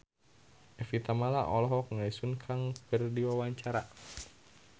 Evie Tamala olohok ningali Sun Kang keur diwawancara